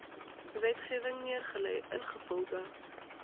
wetgewing neergelê ingevolge